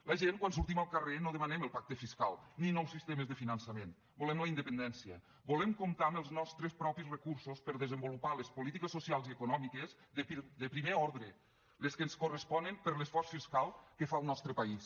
la gent quan sortim al carrer no demanem el pacte fiscal ni nous sistemes de finançament volem la independència volem comptar amb els nostres propis recursos per desenvolupar les polítiques socials i econòmiques de primer ordre les que ens corresponen per l’esforç fiscal que fa el nostre país